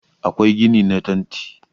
akwai gini na tanti